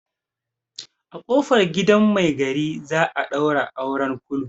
A ƙofar gidan mai gari za a ɗaura auren kulu.